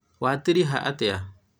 watiriha atĩa?